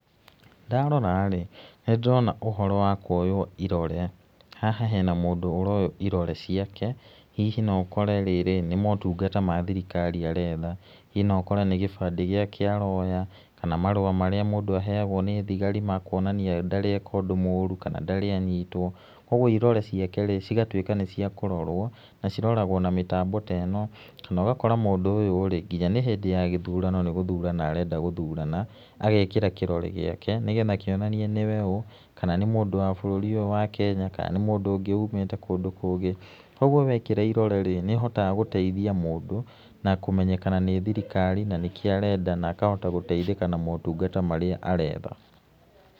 Ndarora rĩ, nĩ ndĩrona ũhoro wa kũoywo irore haha hena mũndũ ũroywo irore ciake hihi no ũkore rĩrĩ nĩ motungata ma thirikari aretha, hihi no ũkore nĩ gĩbandĩ gĩake aroya kana marũa marĩa mũndũ aheagwo nĩ thigari kuonania ndarĩ eka ũndũ mũru kana ndarĩ anyitwo kwa ũguo irore ciake-rĩ cigatũĩka nĩ cĩa kũrorwo na ciroragwo na mĩtambo ta ĩno kana ũgakora mũndũ ũyũ rĩ nginya nĩ hĩndĩ ya gĩthurano nĩ gũthurana arenda gũthurana agekĩra kĩrore gĩake nĩgetha kĩonanie nĩwe ũũ kana nĩ mũndũ wa bũrũri ũyũ wa Kenya kana nĩ mũndũ ũngĩ ũmĩte kũndũ kũngĩ kwa ũguo wekĩra irore-rĩ nĩ ũhotaga guteithia mũndũ na kũmenyekana nĩ thirikari na nĩkĩ arenda na akahota gũteithĩka na maũtungata marĩa aretha.